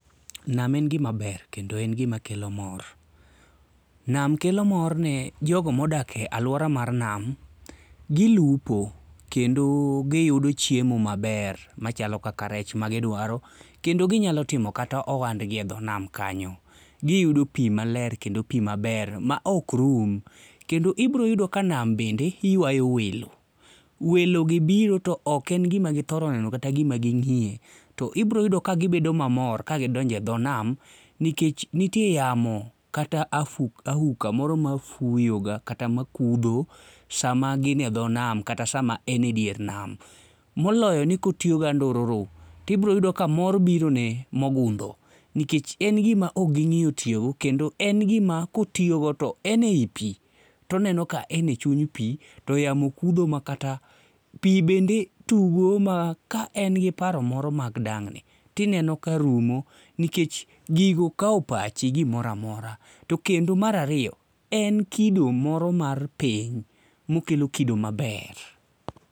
Nam en gima ber kendo en gima kelo mor. Nam kelo mor ne jogo modak e aluora mar nam, gilupo kendo giyudo chiemo maber machalo kaka rech magidwaro kendo ginyalo timo kata ohandgi e dho nam kanyo. Giyudo pi maler kendo pimaler maok rum kendo ibiro yudo ka nam bende yuayo welo. Welogi biro to ok en gima githoro neno kata gima ging'iye to ibiro yudo ka gibedo mamor ka gidonjo edho nam nikech nitie yamo kata auka moro mafuyoga kata makudho sama gin e dho nam kata sma a en edier nam. Moloyo ni ka otiyo gi andururu to ibiro yudo ka mor birone mogundho nikech en gima ok ging'iyo tiyo go to kendo en gima kotiyogo to en ei pi to oneno ka en e chuny pi to yamo kudho makata pi bende tugo maka en gi paro moro mag dang'ni to ineno ka rumo nikech gigo kao pachi gikoro amora. Tokendo mar ariyo, en kido moro mar pith mokelo kido maber.